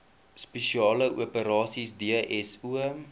spesiale operasies dso